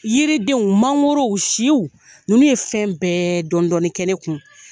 Yiridenw mangorow siw ninnu ye fɛn bɛƐ dɔɔnin dɔɔnin kɛ ne kun